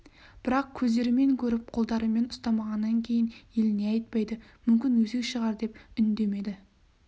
бірақ көздерімен көріп қолдарымен ұстамағаннан кейін ел не айтпайды мүмкін өсек шығар деп үндемеді